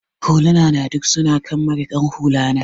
Huluna na duk su na kan marikin hula na.